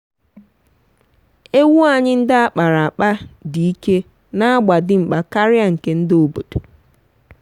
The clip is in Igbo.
ewu anyị ndị a kpara akpa dị ike na agba dimkpa karia nke ndị obodo.